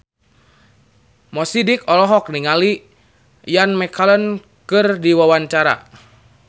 Mo Sidik olohok ningali Ian McKellen keur diwawancara